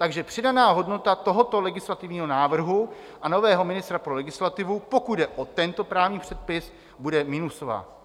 Takže přidaná hodnota tohoto legislativního návrhu a nového ministra pro legislativu, pokud jde o tento právní předpis, bude minusová.